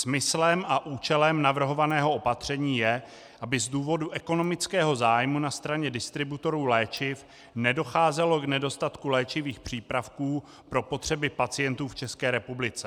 Smyslem a účelem navrhovaného opatření je, aby z důvodu ekonomického zájmu na straně distributorů léčiv nedocházelo k nedostatku léčivých přípravků pro potřeby pacientů v České republice.